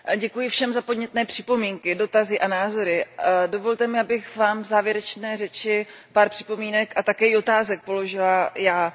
Pane předsedající, děkuji všem za podnětné připomínky, dotazy a názory. Dovolte mi, abych vám v závěrečné řeči pár připomínek a také i otázek položila já.